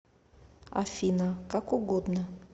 афина как угодно